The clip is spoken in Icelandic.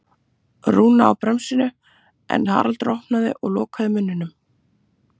Rúna á bremsuna en Haraldur opnaði og lokaði munninum.